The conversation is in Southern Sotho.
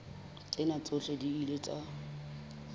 tsena tsohle di ile tsa